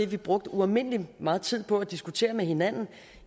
vi brugte ualmindelig meget tid på at diskutere med hinanden